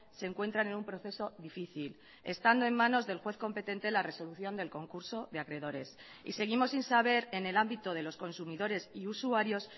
se encuentran en un proceso difícil estando en manos del juez competente la resolución del concurso de acreedores y seguimos sin saber en el ámbito de los consumidores y usuarios